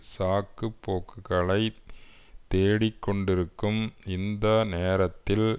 சாக்குப்போக்குளைத் தேடிக்கொண்டிருக்கும் இந்த நேரத்தில்